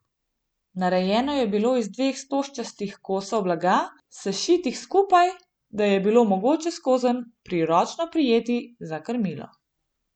Narejeno je bilo iz dveh stožčastih kosov blaga, sešitih skupaj, da je bilo mogoče skozenj priročno prijeti za krmilo.